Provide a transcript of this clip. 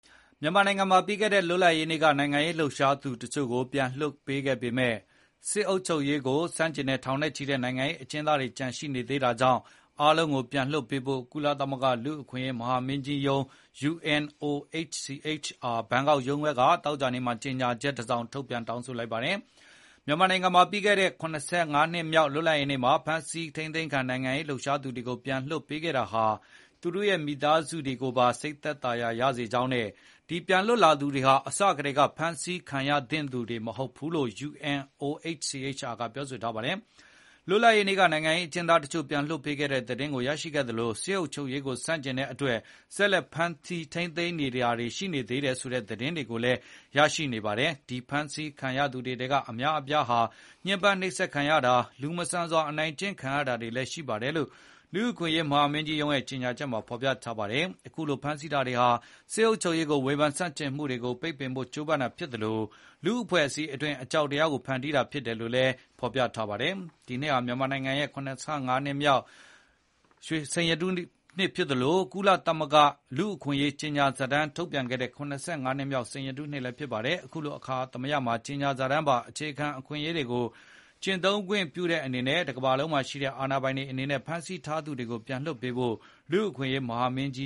မြန်မာနိုင်ငံမှာ ပြီးခဲတဲ့လွတ်လပ်ရေးနေ့က နိုင်ငံရေးလှုပ်ရှားသူတချို့ကို ပြန်လည်လွှတ်ပေးခဲ့ပေမယ့်၊ စစ်အုပ်ချုပ်ရေးကို ဆန့်ကျင်တဲ့ ထောင်နဲ့ချီတဲ့နိုင်ငံရေး အကျဉ်းသားတွေ ကျန်ရှိနေသေးတာကြောင့်၊ အားလုံးကိုပြန်လွှတ်ပေးဖို့ ကုလသမဂ္ဂ လူ့အခွင့်အရေးမဟာမင်းကြီးရုံး UN OHCHR ဘန်ကောက်ရုံးခွဲက သောကြာနေ့မှာ ကြေညာချက်တစောင် ထုတ်ပြန် တောင်းဆိုလိုက်ပါတယ်။ မြန်မာနိုင်ငံမှာ ပြီးခဲ့တဲ့ ၇၅ နှစ်မြောက်လွတ်လပ်ရေးနေ့က အဖမ်းဆီးခံ နိုင်ငံရေးလှုပ်ရှားသူတွေကို ပြန်လွှတ်ပေးခဲ့တာဟာ သူတို့ရဲ့ မိသားစုတွေကိုပါ စိတ်သက်သာရာရစေကြောင်းနဲ့ ဒီပြန်လွတ်လာသူတွေဟာ အစကတည်းကဖမ်းဆီးခံရသင့်သူ တွေမဟုတ်ဘူးလို့လည်း UN OHCHR ကပြောဆိုထားပါတယ်။ လွတ်လပ်ရေးနေ့က နိုင်ငံရေးအကျဉ်းသားတချို့ကို ပြန်လွှတ်ပေးခဲ့တဲ့ သတင်းကိုရရှိခဲ့သလို၊ စစ်အုပ်ချုပ်ရေးကို ဆန့်ကျင်တဲ့အတွက် ဆက်လက်ဖမ်းဆီး ထိန်းသိမ်းထားသူတွေ ကျန်ရှိသေးတယ်ဆိုတဲ့ သတင်းတွေကို ဆက်လက်ရရှိနေပါတယ်။ ဒီဖမ်းဆီးခံထားရသူ တွေထဲက အများအပြားဟာ ညှင်းပန်းနှိပ်စက်တာ၊ လူမဆန်စွာ အနိုင်ကျင့်ခံရတာတွေ လည်းရှိနေတယ်လို့ လူ့အခွင့်ရေးဆိုင်ရာ မဟာမင်းကြီးရုံးရဲ့ ကြေညာချက်မှာ ဖေါ်ပြထားပါတယ်။ အခုလို ဖမ်းဆီးတာတွေဟာ စစ်အုပ်ချုပ်ရေးကို ဝေဘန်ဆန့်ကျင်မှု တွေကို ပိတ်ပင်ဖို့ကြိုးပမ်းတာဖြစ်သလို၊ လူ့အဖွဲ့အစည်းအတွင်း အကြောက်တရားကို ဖန်တီးဖို့ဖြစ်တယ်လို့လည်းဆိုပါ တယ်။ ဒီနှစ်ဟာ မြန်မာနိုင်ငံရဲ့ ၇၅ နှစ်မြောက် လွတ်လပ်ရေးနှစ်ဖြစ်သလို၊ ကုလသမဂ္ဂ လူ့အခွင့်အရေးကြေညာစာတမ်း ထုတ်ပြန်ခဲ့တဲ့ ၇၅ နှစ်မြောက် စိန်ရတုနှစ်လည်းဖြစ်ပါတယ်။ အခုလို အခါသမယမှာ ကြေညာစာတမ်းပါ အခြေခံ အခွင့် အရေးတွေကို ကျင့်သုံးခွင့်ပြုတဲ့အနေနဲ့ တကမ္ဘာလုံးမှာရှိတဲ့ အစိုးရတွေအနေနဲ့ ဖမ်းဆီးထားသူတွေကို ပြန်လွှတ်ပေးဖို့ လူ့အခွင့် အရေးမဟာမင်းကြ